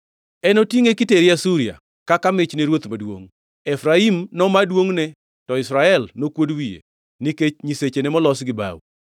Enotingʼe kitere Asuria kaka mich ne ruoth maduongʼ. Efraim noma duongʼne to Israel nokuod wiye nikech nyisechene molos gi bao.